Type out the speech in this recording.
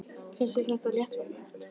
Finnst þér það léttvægt?